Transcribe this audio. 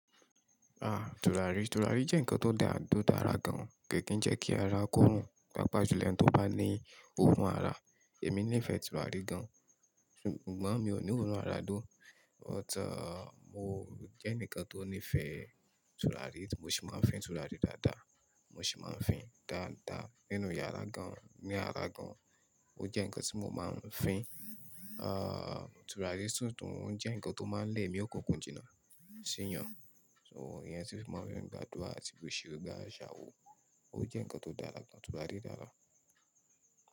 Ah, tùràrí, tùràrí jẹ́ ǹkan tó dàa to dára gan, ko kì n jẹ́ kí ara kó rùn, pàápàá jù lo ẹ́ni tó bá ní òórùn ara. Èmi nífẹ̀ẹ́ tùràrí gan, ṣùgbọ́n mi ò ní òórùn ara dó, but mo jẹ́ enikan tó nífẹ̀ẹ́ tùràrí, mo sì máa fín tùràrí dáadáa, mo sì máa fín dáadáa nínú yàrá gan, ní ara gan. Ó jẹ́ ǹkan tí mo máa ń fín. Ah, tùràrí si tun jẹ́ ǹkan tó máa ń lẹ̀ emí okunkun jìnà síyàn. So, ìyẹn ti mo fi máa ń gbàdúrà àti bu ṣẹ́rẹ́ gbà àjàò, ó jẹ́ ǹkan tó dára gan, tùràrí dáadáa.